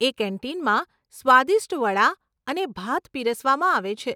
એ કેન્ટીનમાં સ્વાદિષ્ટ વડાં અને ભાત પીરસવામાં આવે છે.